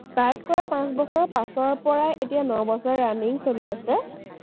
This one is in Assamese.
start কৰা পাঁচ বছৰৰ পাছৰ পৰাই এতিয়া ন বছৰ running চলি আছে।